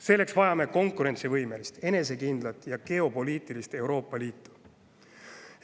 Selleks vajame konkurentsivõimelist, enesekindlat ja geopoliitikast Euroopa Liitu.